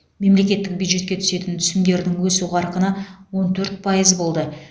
мемлекеттік бюджетке түсетін түсімдердің өсу қарқыны он төрт пайыз болды